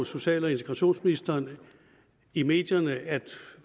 social og integrationsministeren i medierne at